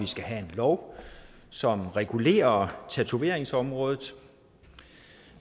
skal have en lov som regulerer tatoveringsområdet